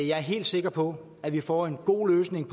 jeg er helt sikker på at vi får en god løsning